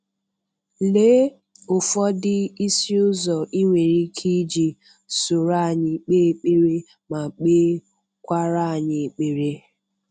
Lee ụfọdụ isi ụzọ i nwere ike iji soro anyị kpe ekpere ma kpe kwara anyị ekpere.